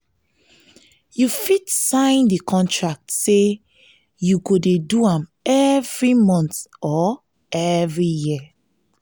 you fit sign di contract say you go de do am every month or every year